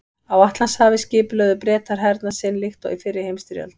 Á Atlantshafi skipulögðu Bretar hernað sinn líkt og í fyrri heimsstyrjöld.